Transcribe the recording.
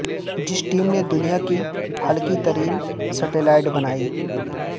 جس ٹیم نے دنیا کی ہلکی ترین سیٹلائٹ بنائی